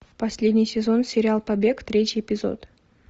последний сезон сериал побег третий эпизод